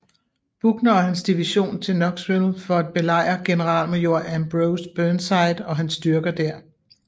Buckner og hans division til Knoxville for at belejre generalmajor Ambrose Burnside og hans styrker der